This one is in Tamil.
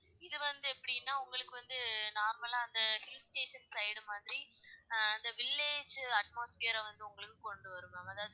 இதுல எப்படினாஉங்களுக்கு வந்து normal லா அந்த hill station side மாதிரி, ஆஹ் அந்த village ஜூ atmosphere ற வந்து உங்களுக்கு கொண்டு வரும் ma'am அதாவது,